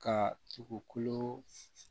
Ka dugukolo